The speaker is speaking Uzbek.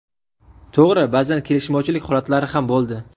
To‘g‘ri, ba’zan kelishmovchilik holatlari ham bo‘ldi.